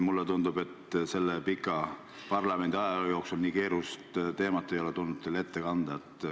Mulle tundub, et selle pika parlamendiajaloo jooksul ei ole teil nii keerulist teemat tulnud ette kanda.